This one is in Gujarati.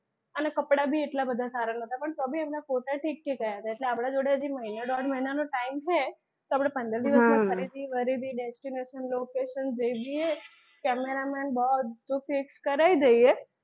અને કપડાં ભી એટલા બધા સારા નહોતા પણ તો ભી એના photo ઠીક ઠીક આવ્યા હતા તો પણ આપડા જોડે મહિના દોઢ મહિના નો time છે તો આપડે પંદર દિવસમાં ખરીદી બરીદી destination location જે બી છે camera persons બધું fix કરાઈ દઈએ.